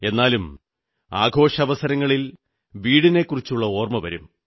എന്നാലും ആഘോഷാവസരങ്ങളിൽ വീടിനെക്കുറിച്ചോർമ്മ വരും